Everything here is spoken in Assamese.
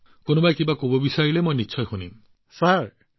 আপোনালোক সকলো মোৰ লগত জড়িত গতিকে কিবা কব বিচাৰিলে মই নিশ্চয় শুনিম